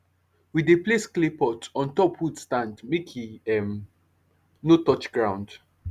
we dey place clay pot on top wood stand make e um no touch ground